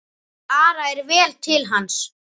Ara er vel til hans.